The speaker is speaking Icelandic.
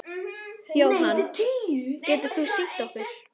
Jóhann: Getur þú sýnt okkur?